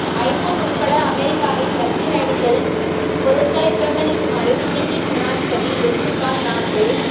iPhone உட்பட அமெரிக்காவின் இலத்திரனியல் பொருட்களை புறக்கணிக்குமாறு துருக்கி ஜனாதிபதி எர்துகான் நாட்டு